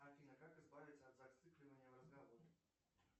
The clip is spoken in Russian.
афина как избавиться от зацикливания в разговоре